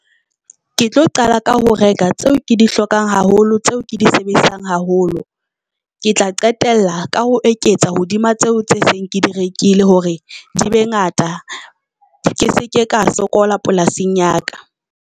Ke tlo qala ka ho reka tseo ke di hlokang haholo, tseo ke di sebedisang haholo. Ke tla qetella ka ho eketsa hodima tseo tse seng ke di rekile hore di be ngata. Ke se ke ka sokola polasing ya ka.